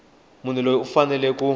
munhu loyi u fanele ku